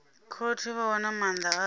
khothe vha wana maanda avho